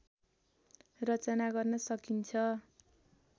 रचना गर्न सकिन्छ